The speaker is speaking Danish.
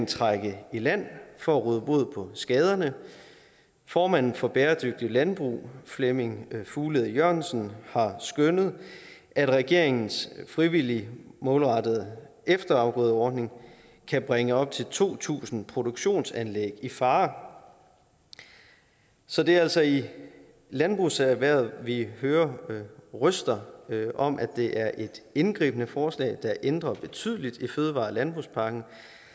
trække i land for at råde bod på skaderne formanden for bæredygtigt landbrug flemming fuglede jørgensen har skønnet at regeringens frivillige målrettede efterafgrødeordning kan bringe op til to tusind produktionsanlæg i fare så det er altså i landbrugserhvervet at vi hører røster om at det er et indgribende forslag der ændrer betydeligt i fødevare og landbrugspakken